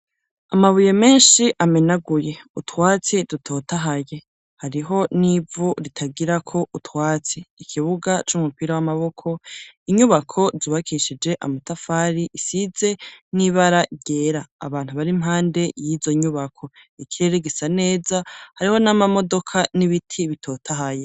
Amabuye menshi amenaguye, utwatsi dutotahaye, hariho n'ivu ritagirako utwatsi; ikibuga c'umupira w'amaboko, inyubako zubakishije amatafari, isize n'ibara ryera; abantu bari impande y'izo nyubako; ikirere gisa neza, hariho n'amamodoka n'ibiti bitotaha.